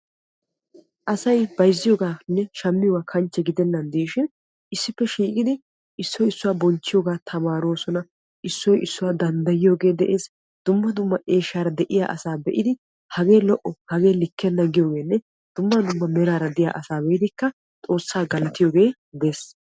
asay bayzziyobanne shammmiyooba kanchche gidenana diishin issippe shiiqqidi issoy issuwaa bonchchiyaaga tamaaroosona, issoy issuwaa danddayiyoogee de'ees. duma dumma eeshsha de'iyaa asaa hagee lo''o hagee likenna giyoogenne dumma dumma meraara diya asaa be'idikka Xoossa galatiyooge des.